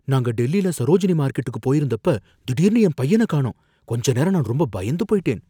நாங்க டெல்லில சரோஜினி மார்க்கெட்டுக்கு போயிருந்தப்ப திடீர்னு என் பையன காணோம், கொஞ்ச நேரம் நான் ரொம்ப பயந்து போயிட்டேன்.